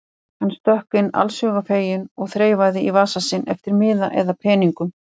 Hann stökk inn allshugar feginn og þreifaði í vasa sinn eftir miða eða peningum.